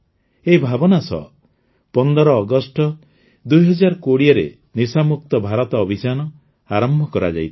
ଏହି ଭାବନା ସହ ୧୫ ଅଗଷ୍ଟ ୨୦୨୦ରେ ନିଶାମୁକ୍ତ ଭାରତ ଅଭିଯାନ ଆରମ୍ଭ କରାଯାଇଥିଲା